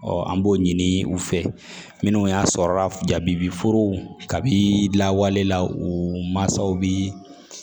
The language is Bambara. an b'o ɲini u fɛ minnu y'a sɔrɔ jabiforow ka bi lawalela u mansaw bi